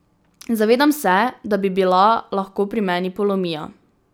Zavedam se, da bi bila lahko pri meni polomija.